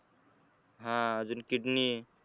हा अजून kedney